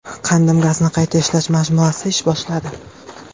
Qandim gazni qayta ishlash majmuasi ish boshladi.